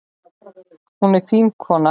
Hún er fín kona.